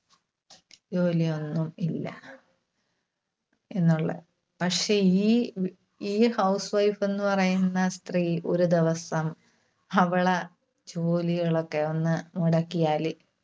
ജോലിയൊന്നും ഇല്ല. എന്നുള്ള പക്ഷേ ഈ ഈ housewife ന്ന് പറയുന്ന സ്ത്രീ ഒരു ദിവസം അവളെ ജോലികളൊക്കെ ഒന്ന് മുടക്കിയാല്,